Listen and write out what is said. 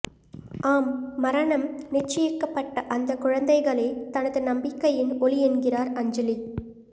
ஆம் மரணம் நிச்சயிக்கப்பட்ட அந்தக் குழந்தைகளே தனது நம்பிக்கையின் ஒளி என்கிறார் அஞ்சலி